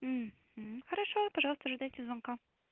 хорошо пожалуйста ожидайте звонка